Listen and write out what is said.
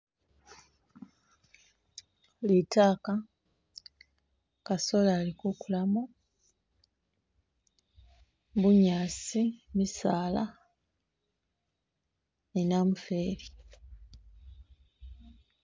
Litaaka , kasoli ali ku kulamo, bunyaasi, misaala ni namufeli